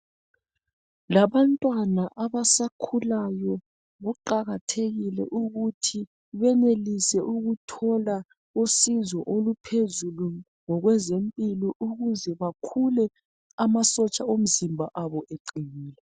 Labantwana abasakhulayo kuqakathekile ukuthi benelise ukuthola usizo oluphezulu ngokwezempilo ukuze bakhule amasotsha omzimba abo eqinile.